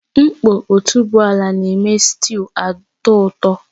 Nkpo otuboala na-eme sịtịụ atọ ụtọ